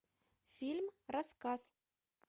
фильм рассказ